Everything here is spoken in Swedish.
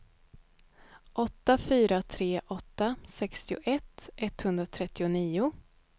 åtta fyra tre åtta sextioett etthundratrettionio